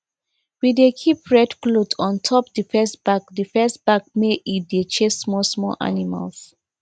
we dey keep red cloth on top the first bag the first bag make e dey chase small small animals